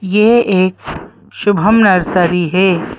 यह एक शुभम नर्सरी है।